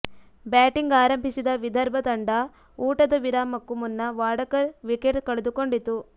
batting ಆರಂಭಿಸಿದ ವಿದರ್ಭ ತಂಡ ಊಟದ ವಿರಾಮಕ್ಕೂ ಮುನ್ನ ವಾಡಕರ್ ವಿಕೆಟ್ ಕಳೆದುಕೊಂಡಿತು